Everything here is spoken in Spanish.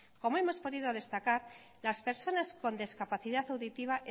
como hemos podido destacar las personas con discapacidad auditiva